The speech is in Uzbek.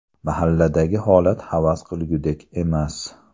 Mahalladagi holat havas qilgulik emas.